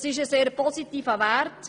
Es ist ein sehr positiver Wert.